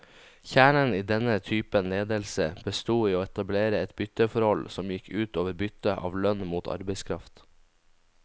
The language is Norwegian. Kjernen i denne typen ledelse bestod i å etablere et bytteforhold, som gikk ut over byttet av lønn mot arbeidskraft.